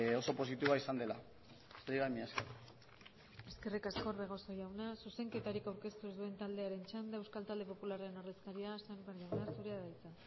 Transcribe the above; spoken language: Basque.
oso positiboa izan dela besterik gabe mila esker eskerrik asko orbegozo jauna zuzenketarik aurkeztu ez duen taldearen txanda euskal talde popularraren ordezkaria sémper jauna zurea da hitza